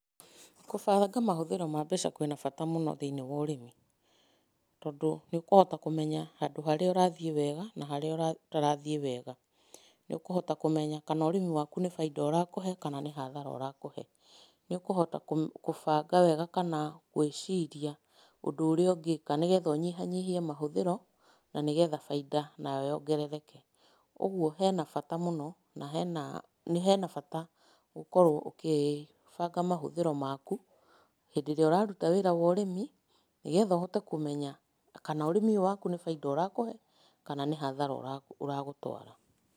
Gũbanga mahũthĩro ma mbeca kwĩna bata mũno thĩiniĩ wa ũrĩmi, tondũ nĩ ũkũhota kũmenya handũ harĩa ũrathiĩ wega na harĩa ũtarathiĩ wega. Nĩ ũkũhota kũmenya kana ũrĩmi waku nĩ bainda ũrakũhe kana nĩ hathara ũrakuhe. Nĩ ũkũhota gũbanga wega kana gwĩciria ũndũ ũrĩa ũngĩka nĩ getha ũnyihanyihie mahũthĩro na nĩgetha bainda nayo yongerereke. Ũguo hena bata mũno, na hena hena bata ũkorwo ũkĩbanga mahũthĩro maku, hĩndĩ ĩrĩa ũraruta wĩra wa ũrĩmi, nĩgetha ũhote kũmenya kana ũrĩmi ũyũ waku nĩ bainda ũrakũhe kana nĩ hathara ũragũtwara.